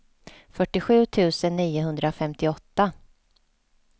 fyrtiosju tusen niohundrafemtioåtta